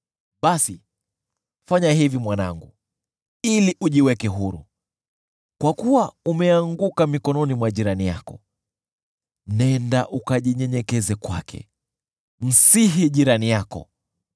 basi fanya hivi mwanangu, ili ujiweke huru, kwa kuwa umeanguka mikononi mwa jirani yako: Nenda ukajinyenyekeshe kwake; msihi jirani yako!